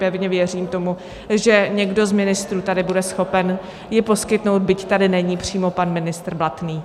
Pevně věřím tomu, že někdo z ministrů tady bude schopen ji poskytnout, byť tady není přímo pan ministr Blatný.